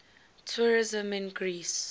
tourism in greece